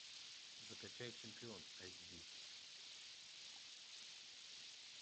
закачай чемпион айч ди